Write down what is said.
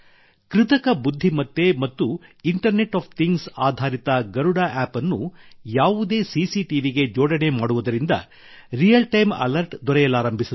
ಕೃತಕ ಬುದ್ಧಿಮತ್ತೆ ಮತ್ತು ಇಂಟರ್ನೆಟ್ ಒಎಫ್ ಥಿಂಗ್ಸ್ ಆಧಾರಿತ ಗರುಡ ಆಪ್ App ಅನ್ನು ಯಾವುದೇ ಸಿಸಿಟಿವಿಗೆ ಜೋಡಣೆ ಮಾಡುವುದರಿಂದ ರಿಯಲ್ ಟೈಮ್ ಅಲರ್ಟ್ ದೊರೆಯಲಾರಂಭಿಸುತ್ತದೆ